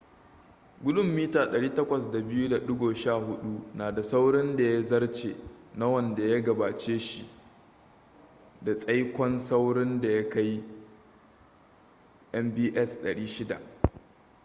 gudun 802.11n na da saurin da ya zarce na wanda ya gabace shi da tsaikon saurin da ya kai 600mbit/s